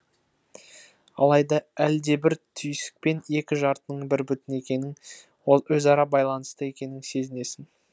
алайда әлдебір түйсікпен екі жартының бір бүтін екенін өзара байланысты екенін сезінесің